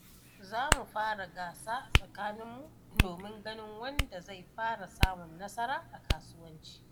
Zamu fara gasa a tsakaninmu domin ganin wanda zai fara samun nasara a kasuwanci.